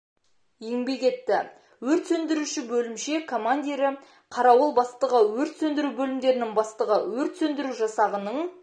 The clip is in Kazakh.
еңбек етті өрт сөндіруші бөлімше командирі қарауыл бастығы өрт сөндіру бөлімдерінің бастығы өрт сөндіру жасағының